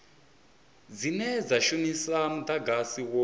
dzine dza shumisa mudagasi wo